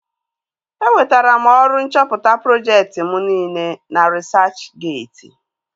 E wetara m ọrụ nchọpụta projekti mụ niile na risachgeeti